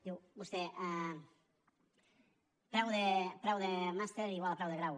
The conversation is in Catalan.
diu vostè preu de màster igual a preu de grau